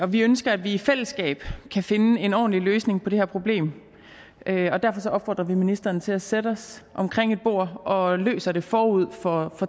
vi ønsker at vi i fællesskab kan finde en ordentlig løsning på det her problem og derfor opfordrer vi ministeren til at vi sætter os omkring et bord og løser det forud for